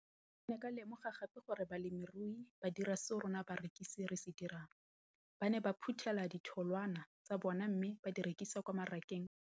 Ke ne ka lemoga gape gore balemirui ba dira seo rona barekisi re se dirang, ba ne ba phuthela ditholwana tsa bona mme ba di rekisa kwa marakeng wa Motsekapa.